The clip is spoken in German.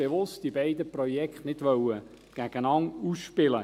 Man wollte diese beiden Projekte ganz bewusst nicht gegeneinander ausspielen.